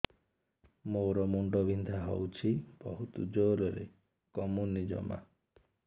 ମୋର ମୁଣ୍ଡ ବିନ୍ଧା ହଉଛି ବହୁତ ଜୋରରେ କମୁନି ଜମା